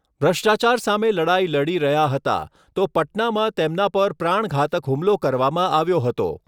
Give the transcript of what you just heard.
ભ્રષ્ટાચાર સામે લડાઈ લડી રહ્યા હતા, તો પટનામાં તેમના પર પ્રાણઘાતક હુમલો કરવામાં આવ્યો હતો.